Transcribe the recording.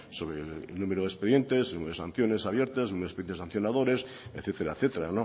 sobre el número de expedientes número de sanciones abiertas número de expedientes sancionadores etcétera